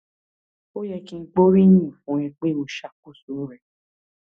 ó yẹ kí n gbóríyìn fún ẹ pé o ṣàkóso rẹ